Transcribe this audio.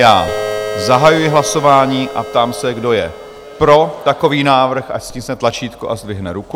Já zahajuji hlasování a ptám se, kdo je pro takový návrh, ať stiskne tlačítko a zdvihne ruku.